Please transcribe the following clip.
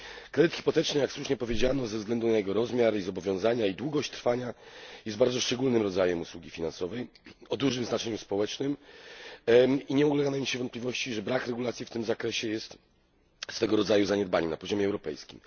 Kredyt hipoteczny, jak słusznie powiedziano, ze względu na jego rozmiar i zobowiązania oraz długość trwania, jest bardzo szczególnym rodzajem usługi finansowej o dużym znaczeniu społecznym, i nie ulega najmniejszej wątpliwości, że brak regulacji w tym zakresie jest swego rodzaju zaniedbaniem na poziomie europejskim.